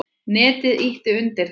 Netið ýti undir það.